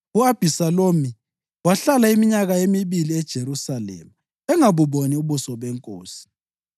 U-Abhisalomu wahlala iminyaka emibili eJerusalema engabuboni ubuso benkosi.